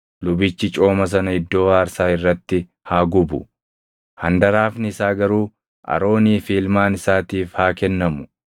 Lubichi cooma sana iddoo aarsaa irratti haa gubu. Handaraafni isaa garuu Aroonii fi ilmaan isaatiif haa kennamu.